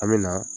An me na